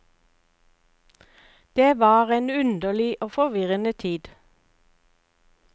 Det var en underlig og forvirrende tid.